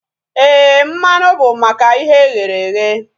Éè, mmanụ bụ maka ihe e ghere eghe